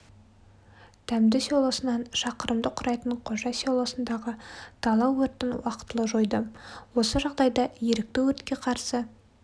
дәмді селосынан шақырымды құрайтын қожа селосындағы дала өртін уақытылы жойды осы жағдайда ерікті өртке қарсы